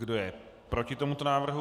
Kdo je proti tomuto návrhu?